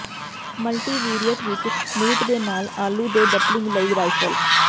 multivariate ਵਿੱਚ meat ਦੇ ਨਾਲ ਆਲੂ ਦੇ ਡੰਪਲਿੰਗ ਲਈ ਰਾਈਫਲ